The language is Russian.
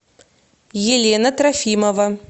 елена трофимова